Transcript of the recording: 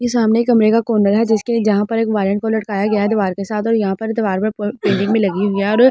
ये सामने कमरे का कॉर्नर है जिसके जहां पर एक वायर को लटकाया गया है दीवार के साथ और यहां पर दीवार पर पेंटिंग भी लगी हुई है और--